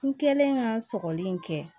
N kɛlen ka sɔgɔli in kɛ